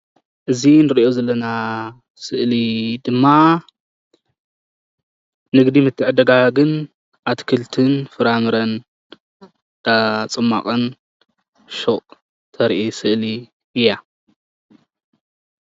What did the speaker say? እዚ እንሪኦ ዘለና ስእሊ ድማ ንግዲ ምትዕድዳግን ኣትክልትን ፍራምረን ፅማቅን ተርኢ ስእሊ እያ፡፡